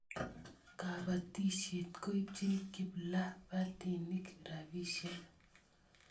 Kapatisyet koipchin kiplapatinik rspisyek